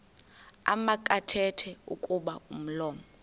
makathethe kuba umlomo